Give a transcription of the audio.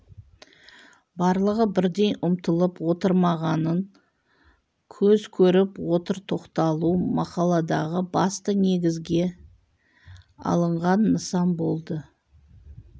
барлығы бірдей ұмтылып отырмағанын көз көріп отыр тоқталу мақаладағы басты негізге алынған нысан болды